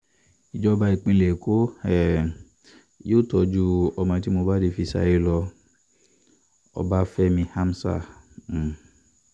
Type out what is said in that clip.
ijọba ipinlẹ eko um yoo tọju ọmọ ti mo bale fi saye lọ - Ọbafẹmi Amzar um